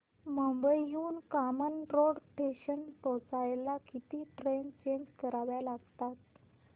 मुंबई हून कामन रोड स्टेशनला पोहचायला किती ट्रेन चेंज कराव्या लागतात